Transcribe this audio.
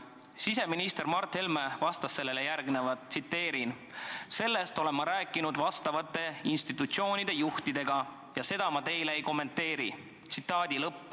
" Siseminister Mart Helme vastas sellele järgmist: "Sellest olen ma rääkinud vastavate institutsioonide juhtidega ja seda ma teile ei kommenteeri.